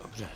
Dobře.